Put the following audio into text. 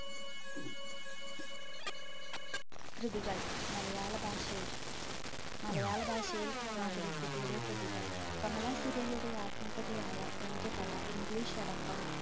കൃതികൾ മലയാള ഭാഷയിൽ, മലയാള ഭാഷയിൽ മാധവിക്കുട്ടിയുടെ കൃതികൾ കമലാ സുരയ്യയുടെ ആത്മകഥയായ എൻറെ കഥ english അടക്കം